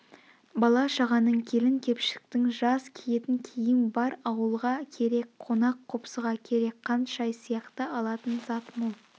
бала-шағаның келін-кепшктің жаз киетін киім бар ауылға керек қонақ-қопсыға керек қант шай сияқты алатын зат мол